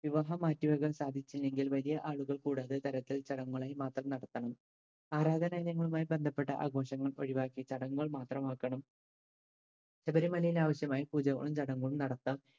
വിവാഹം മാറ്റി വെക്കാൻ സാധിച്ചില്ലെങ്കിൽ വലിയ ആളുകൾ കൂടാത്ത തരത്തിൽ ചടങ്ങുകളായി മാത്രം നടത്തണം. ആരാധനാലയങ്ങളുമായി ബന്ധപ്പെട്ട ആഘോഷങ്ങൾ ഒഴിവാക്കി ചടങ്ങുകൾ മാത്രമാക്കണം ശബരിമലയിലെ ആവശ്യമായി പൂജകളും ചടങ്ങുകളും നടത്താം.